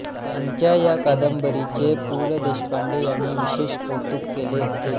त्यांच्या या कादंबरीचे पु ल देशपांडे यांनी विशेष कौतुक केले होते